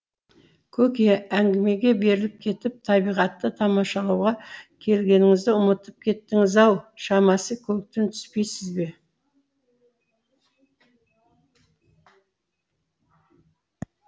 көке әңгімеге беріліп кетіп табиғатты тамашалауға келгеніңізді ұмытып кеттіңіз ау шамасы көліктен түспейсіз бе